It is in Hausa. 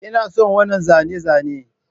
Ina son wannan zane-zane